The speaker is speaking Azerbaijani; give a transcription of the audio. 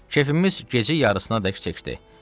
Keyfimiz gecə yarısına dək çəkdi.